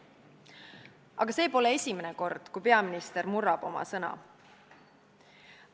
Aga see pole esimene kord, kui peaminister oma sõna murrab.